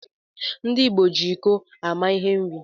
Ndi igbo ji iko ama ihe nri.